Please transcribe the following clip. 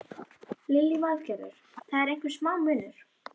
Lillý Valgerður: Það er einhver smá munur?